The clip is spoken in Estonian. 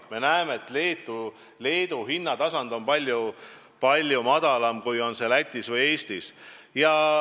Me näeme, et Leedu hinnatasand on palju madalam kui Lätis ja Eestis.